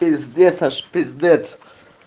пиздец аж пиздец